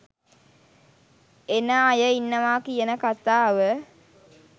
එන අය ඉන්නවා කියන කතාව..